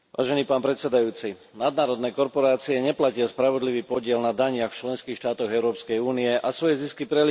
Nadnárodné korporácie neplatia spravodlivý podiel na daniach v členských štátoch Európskej únie a svoje zisky prelievajú do daňových rajov.